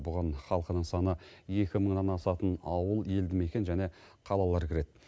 бұған халқының саны екі мыңнан асатын ауыл елді мекен және қалалар кіреді